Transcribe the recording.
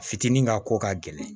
Fitinin ka ko ka gɛlɛn